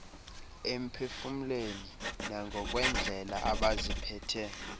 emphefumlweni nangokwendlela abaziphethe